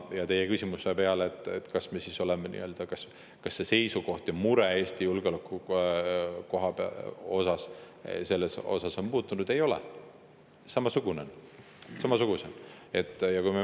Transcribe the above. Ja teie küsimuse peale, kas see meie seisukoht ja mure Eesti julgeoleku pärast on muutunud, vastan: ei ole, samasugune on.